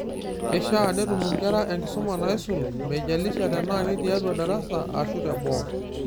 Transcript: Keishaa netum inkera enkisuma naisul, meijalisha tenaa ketiatua darasa ashu teboo.